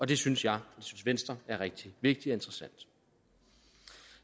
det synes jeg og venstre er rigtig vigtigt og interessant